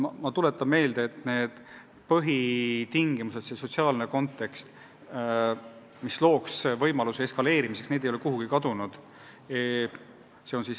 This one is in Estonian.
Ma tuletan meelde, et need põhitingimused, mida on vaja, et sotsiaalne kontekst ei annaks võimalust olukorra eskaleerumiseks, kehtivad ikka.